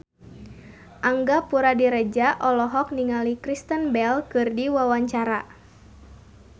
Angga Puradiredja olohok ningali Kristen Bell keur diwawancara